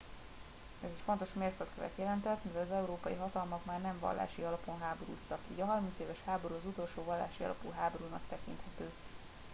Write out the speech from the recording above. ez egy fontos mérföldkövet jelentett mivel az európai hatalmak már nem vallási alapon háborúztak így a harmincéves háború az utolsó vallási alapú háborúnak tekinthető